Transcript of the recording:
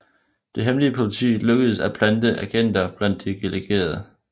Det hemmelige politi lykkedes at plante agenter blandt de delegerede